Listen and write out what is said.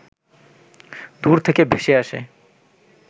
দূর থেকে ভেসে আসে